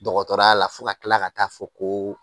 Dɔgɔtɔrɔya la fo ka kila ka taa fɔ ko